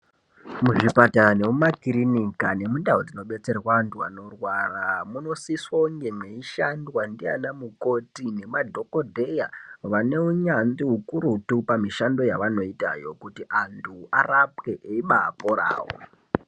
Muzvipatara nemumakirinika nemundau dzinobetsrwe anthu anorwara munosiso kunge mweishandwa ndiana mukoti nemadhokodheya ane unyanzvi ukurutu pamushando yavanoitayo kuti anthu arapwe eibaporao.